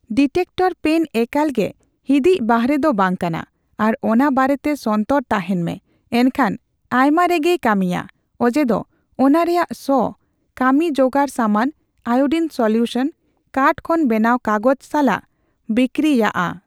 Detector pen ᱮᱠᱟᱞᱜᱮ ᱦᱤᱫᱤᱡᱽ ᱵᱟᱦᱨᱮ ᱫᱚ ᱵᱟᱝ ᱠᱟᱱᱟ ᱟᱨ ᱚᱱᱟ ᱵᱟᱨᱮᱛᱮ ᱥᱚᱱᱛᱚᱨ ᱛᱟᱦᱮᱱ ᱢᱮ, ᱮᱱᱠᱷᱟᱱ ᱟᱭᱢᱟ ᱨᱮᱜᱮ ᱭ ᱠᱟᱹᱢᱤᱭᱟ ᱚᱡᱮ ᱫᱚ ᱚᱱᱟ ᱨᱮᱭᱟᱜ ᱥᱚ ᱠᱟᱢᱤ ᱡᱚᱜᱟᱲ ᱥᱟᱢᱟᱱᱼ ᱟᱭᱳᱰᱤᱱ ᱥᱚᱞᱤᱭᱣᱥᱚᱱ, ᱠᱟᱴ ᱠᱷᱚᱱ ᱵᱮᱱᱟᱣ ᱠᱟᱜᱚᱡᱽ ᱥᱟᱞᱟᱜ ᱵᱤᱠᱨᱤᱭᱟᱜᱼᱟ ᱾